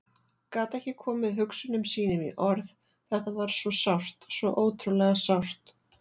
Gat ekki komið hugsunum sínum í orð, þetta var svo sárt, svo ótrúlega sárt.